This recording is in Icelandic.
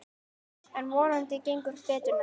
En vonandi gengur betur næst.